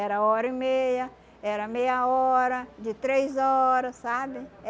Era hora e meia, era meia hora, de três hora, sabe?